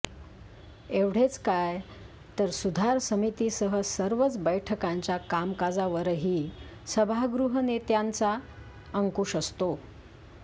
एवढेच काय तर सुधार समितीसह सर्वच बैठकांच्या कामकाजावरही सभागृहनेत्यांचा अंकुश असतो